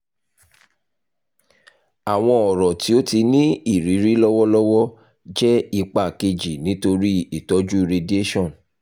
awọn ọrọ ti o ti n ni iriri lọwọlọwọ jẹ ipa keji nitori itọju radiation